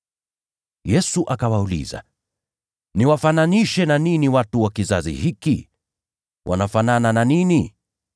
Yesu akawauliza, “Niwafananishe na nini watu wa kizazi hiki? Wanafanana na nini?